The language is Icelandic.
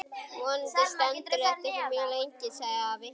Vonandi stendur þetta ekki mjög lengi sagði afi.